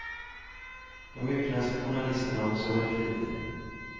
De utländska journalisterna har också varit flitiga.